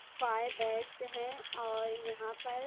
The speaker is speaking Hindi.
फ़ायर ब्रिगेड है और यहां पर--